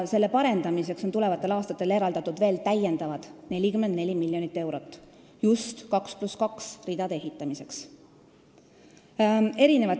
Selle parendamiseks on tulevatel aastatel eraldatud täiendavad 44 miljonit eurot, just 2 + 2 ridade ehitamiseks.